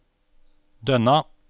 Dønna